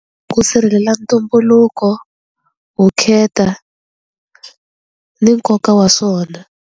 Ku sirhelela ntumbuluko vukheta ni nkoka wa swona.